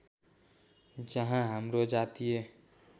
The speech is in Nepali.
जहाँ हाम्रो जातीय